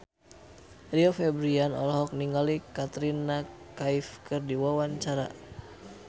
Rio Febrian olohok ningali Katrina Kaif keur diwawancara